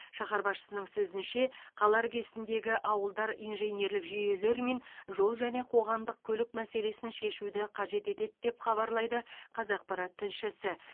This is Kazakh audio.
шаһар басшысының сөзінше қала іргесіндегі ауылдар инженерлік жүйелер мен жол және қоғамдық көлік мәселесін шешуді қажет етеді деп хабарлайды қазақпарат тілшісі